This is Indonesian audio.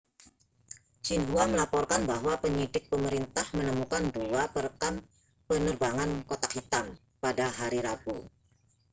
xinhua melaporkan bahwa penyelidik pemerintah menemukan dua perekam penerbangan kotak hitam' pada hari rabu